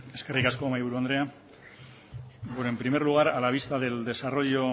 eskerrik asko mahaiburu andrea bueno en primer lugar a la vista del desarrollo